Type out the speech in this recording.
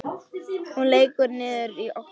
Hún lekur niður á gólfið.